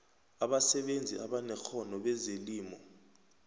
abasebenzi abanekghono bezelimo